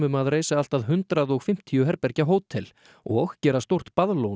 að reisa allt að hundrað og fimmtíu herbergja hótel og gera stórt